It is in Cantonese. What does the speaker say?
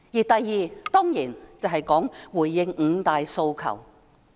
第二，當然是回應五大訴求。